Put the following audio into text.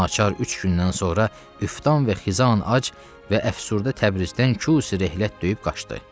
Naçar üç gündən sonra üftan və xizan ac və əfsürdə Təbrizdən Kusi-rəhlət döyüb qaçdı.